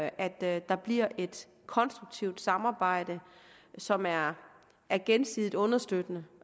at der bliver et konstruktivt samarbejde som er er gensidigt understøttende